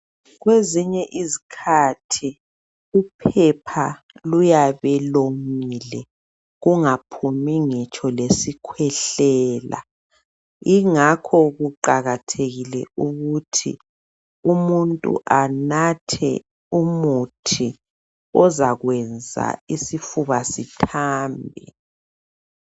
Kwezinye izikhathi uphepha luyabe lomile kungaphumi ngitsho lesi khwehlela .Ingakho kuqakathekile ukuthi umuntu anathe umuthi ozakwenza isifuba sithambe .